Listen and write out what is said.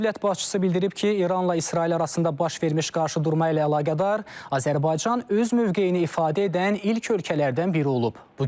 Dövlət başçısı bildirib ki, İranla İsrail arasında baş vermiş qarşıdurma ilə əlaqədar Azərbaycan öz mövqeyini ifadə edən ilk ölkələrdən biri olub.